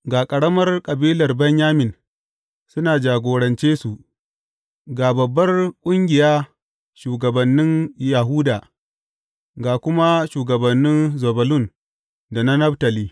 Ga ƙaramar kabilar Benyamin, suna jagorance su, ga babbar ƙungiya shugabannin Yahuda, ga kuma shugabannin Zebulun da na Naftali.